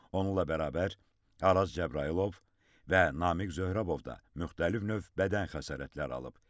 Onunla bərabər Araz Cəbrayılov və Namiq Zöhrəbov da müxtəlif növ bədən xəsarətləri alıb.